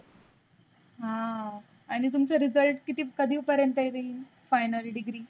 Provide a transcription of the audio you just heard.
हा आणी तुमचा result किती कदी पर्यंत येइल final degree?